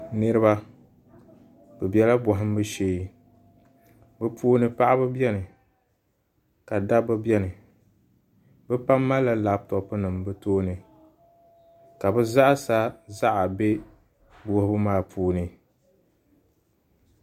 Niraba bi bɛla bohambu shee bi puuni paɣaba biɛni ka Dabba biɛni bi pam malila labtop nim bi tooni ka bi zaɣa sa bɛ wuhubu maa puuni